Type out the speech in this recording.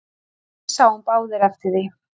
Við sáum báðir eftir því.